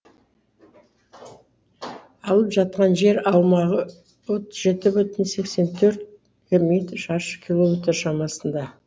алып жатқан жер аумағы отыз жеті бүтін сексен төрт шаршы километр шамасында